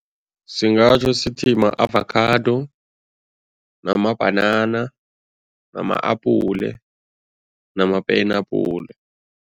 Singatjho sithi ma-avakhado, namabhanana, nama-apule nama-penabhule.